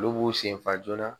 Olu b'u senfa joona